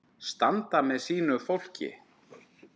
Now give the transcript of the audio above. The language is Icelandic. Standa með sínu fólki.